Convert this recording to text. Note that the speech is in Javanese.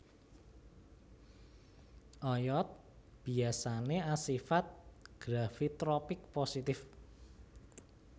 Oyot biyasane asifat gravitropik positif